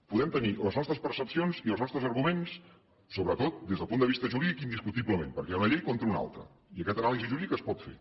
podem tenir les nostres percepcions i els nostres arguments sobretot des del punt de vista jurídic indiscutiblement perquè hi ha una llei contra una altra i aquesta anàlisi jurídica es pot fer